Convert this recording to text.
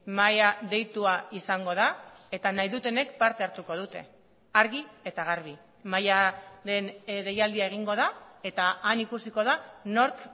mahaia deitua izango da eta nahi dutenek parte hartuko dute argi eta garbi mahaiaren deialdia egingo da eta han ikusiko da nork